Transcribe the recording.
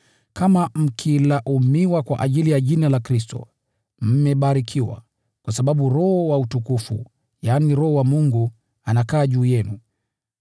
Kama mkitukanwa kwa ajili ya jina la Kristo, mmebarikiwa, kwa sababu Roho wa utukufu na wa Mungu anakaa juu yenu.